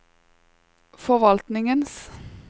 forvaltningens